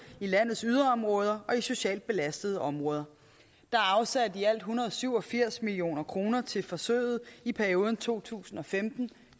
i landets yderområder og i socialt belastede områder der er afsat i alt en hundrede og syv og firs million kroner til forsøget i perioden to tusind og femten